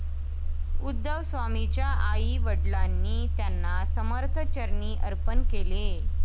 उद्धवस्वामींच्या आई वडिलांनी त्यांना समर्थ चरणी अर्पण केले.